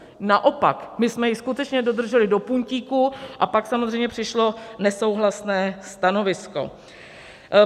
Naopak, my jsme ji skutečně dodrželi do puntíku, a pak samozřejmě přišlo nesouhlasné stanovisko.